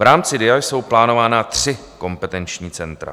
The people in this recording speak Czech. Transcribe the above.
V rámci DIA jsou plánována tři kompetenční centra.